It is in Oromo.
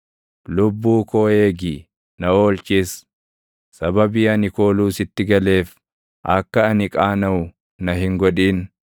Lubbuu koo eegi; na oolchis; sababii ani kooluu sitti galeef, akka ani qaanaʼu na hin godhin.